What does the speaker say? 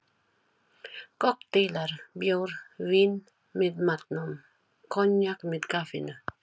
Kokteilar, bjór, vín með matnum, koníak með kaffinu.